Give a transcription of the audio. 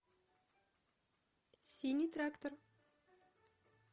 синий трактор